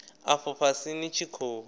afho fhasi ni tshi khou